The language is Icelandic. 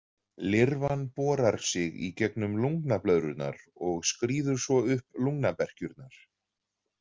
Lirfan borar sig í gegnum lungnablöðrurnar og skríður svo upp lungnaberkjurnar.